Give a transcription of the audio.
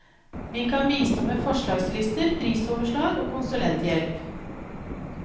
Vi kan bistå med forslagslister, prisoverslag og konsulenthjelp.